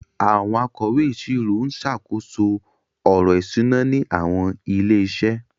Àwọn akọ̀wé ìṣirò ń ṣàkóso ọ̀rọ̀ ìṣúná ní àwọn ilé-iṣẹ́.